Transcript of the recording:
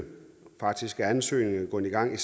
faktisk er ansøgningen gået i gang i